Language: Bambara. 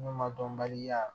N'u ma dɔnbaliya